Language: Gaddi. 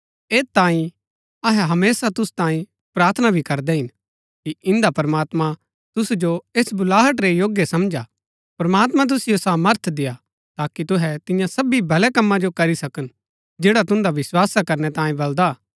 ऐत तांई अहै हमेशा तुसु तांई प्रार्थना भी करदै हिन कि इन्दा प्रमात्मां तुसु जो ऐस बुलाहट रै योग्य समझा प्रमात्मां तुसिओ सामर्थ देय्आ ताकि तुहै तिन्या सब भलै कम्मा जो करी सकन जैड़ा तुन्दा विस्‍वासा करनै तांये बलदा हा